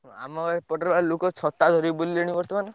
ଆମ ଏପଟରେ ବା ଲୋକ ଛତା ଧରି ବୁଲିଲେଣି ବର୍ତ୍ତମାନ।